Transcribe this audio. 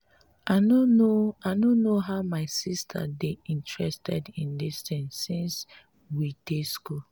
i no know i no know why my sister dey interested in dis thing since we dey school